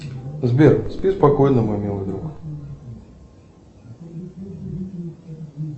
сбер спи спокойно мой милый друг